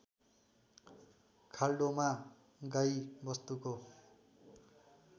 खाल्डोमा गाई वस्तुको